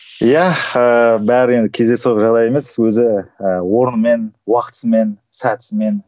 иә ііі бәрі енді кездейсоқ жағдай емес өзі ііі орнымен